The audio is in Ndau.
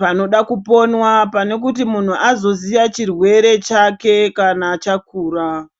panoda kuponwa pane kuti muntu anoziya chirwere chake kana chakura.